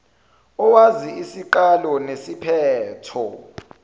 owazi isiqalo nesiphetho